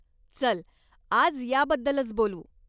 चल, आज याबद्दलच बोलू.